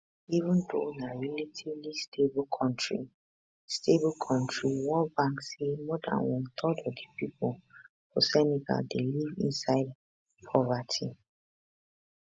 even though na relatively stable kontri stable kontri world bank say more than one third of di pipo for senegal dey live inside poverty